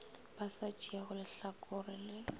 ba sa tšeego lehlakore le